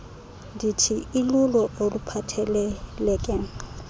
dti ilulo oluphatheleleke